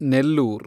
Nellore